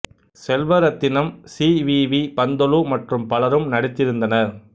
Selvarathinam C V V Panthulu மற்றும் பலரும் நடித்திருந்தனர்